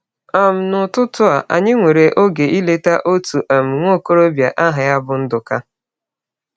um N’ụtụtụ a, anyị nwere oge ileta otu um nwa okorobịa aha ya bụ Nduka.